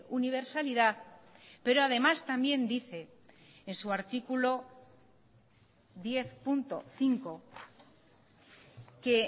universalidad pero además también dice en su artículo diez punto cinco que